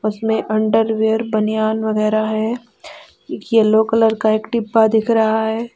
उसमें अंडरवियर बनियान वगैरा है येलो कलर का एक डिब्बा दिख रहा है।